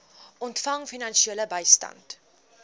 ontvang finansiële bystand